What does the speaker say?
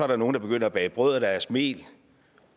der nogle der begynder at bage brød af deres mel